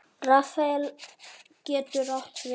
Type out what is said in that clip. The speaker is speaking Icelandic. Rafael getur átt við